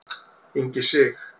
Ingi Sig.